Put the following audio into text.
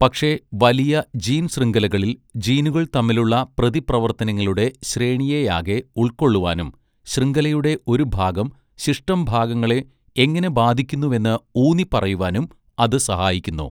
പക്ഷേ വലിയ ജീൻശൃംഖലകളിൽ ജീനുകൾ തമ്മിലുള്ള പ്രതിപ്രവർത്തനങ്ങളുടെ ശ്രേണിയെയാകെ ഉൾക്കൊള്ളുവാനും, ശൃംഖലയുടെ ഒരു ഭാഗം ശിഷ്ടം ഭാഗങ്ങളെ എങ്ങനെ ബാധിക്കുന്നുവെന്ന് ഊന്നിപ്പറയുവാനും അത് സഹായിക്കുന്നു.